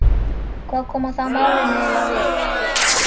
Hvað koma það málinu eiginlega við?